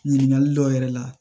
Ɲininkali dɔw yɛrɛ la